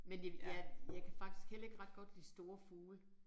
Men det ja jeg kan faktisk heller ikke ret godt lide store fugle